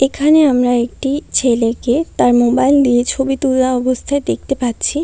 এখানে আমরা একটি ছেলেকে তার মোবাইল নিয়ে ছবি তোলা অবস্থায় দেখতে পাচ্ছি।